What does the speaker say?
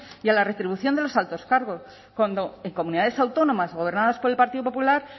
y a la retribución de los altos cargos cuando en comunidades autónomas gobernadas por el partido popular